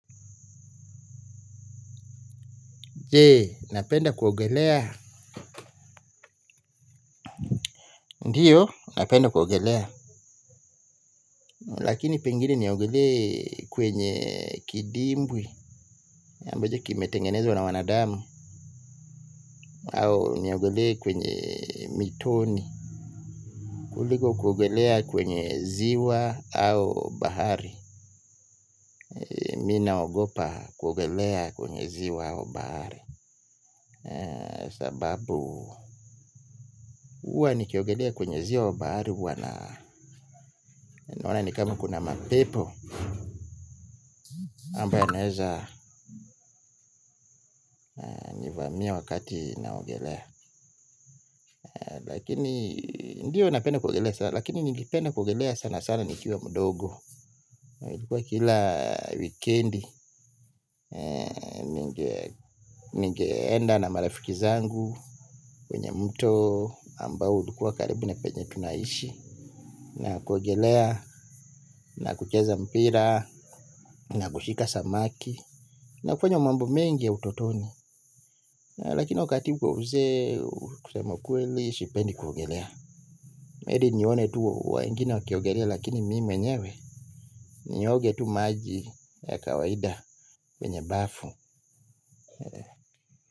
Jee, napenda kuogelea ndiyo, napenda kuogelea lakini pengine niogele kwenye kidimbwi ambacho kimetengenezwa na wanadamu au niogele kwenye mitoni kuliko kuogelea kwenye ziwa au bahari. Minaogopa kuogelea kwenye ziwa au bahari sababu huwa nikiogelea kwenye ziwa wa bahari huwa na naona nikama kuna mapepo ambayo yanaeza miya wakati naogelea lakini ndiyo napenda kuogelea lakini ningependa kuogelea sana sana nikiwa mdogo ilikuwa kila wikendi. Ningeenda na marafiki zangu kwenye mto ambao ulikua karibu na penye tunaishi na kuogelea na kucheza mpira na kushika samaki na kufanya mambo mengi ya utotoni lakini wakati huu kwa uzee kusema kweli sipendi kuogelea heri nione tu wengine wakiogelea lakini mi mwenyewe nioge tu maji ya kawaida kwenye bafu.